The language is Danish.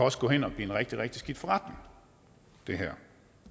også gå hen og blive en rigtig rigtig skidt forretning det her